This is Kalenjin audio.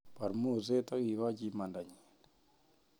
Bar moset ak ikochi imandanyi